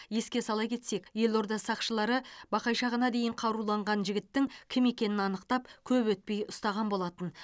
еске сала кетсек елорда сақшылары бақайшағына дейін қаруланған жігіттің кім екенін анықтап көп өтпей ұстаған болатын